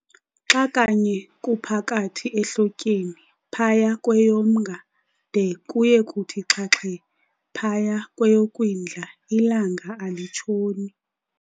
Xa kanye kuphakathi ehlotyeni, phaya kweyoMnga, de kuye kuthi xhaxhe phaya kweyoKwindla, ilanga alitshoni.